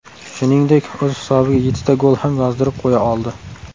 Shuningdek, o‘z hisobiga yettita gol ham yozdirib qo‘ya oldi.